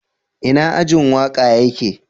Ina ajin waka ya ke?